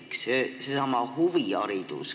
Teiseks, seesama huviharidus.